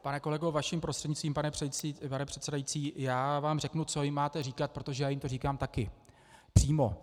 Pane kolego, vaším prostřednictvím, pane předsedající, já vám řeknu, co jim máte říkat, protože já jim to říkám taky přímo.